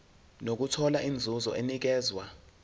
nokuthola inzuzo enikezwa